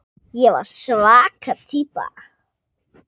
Ég var svaka týpa.